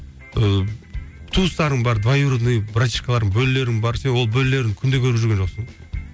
ыыы туыстарың бар двоюродной братишкаларың бөлелерің бар сен ол бөлелеріңді күнде көріп жүрген жоқсың